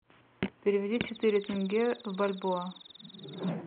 переведи четыре тенге в бальбоа